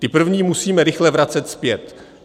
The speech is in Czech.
Ty první musíme rychle vracet zpět.